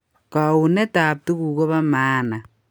Kouneet ab tuguk kobo maana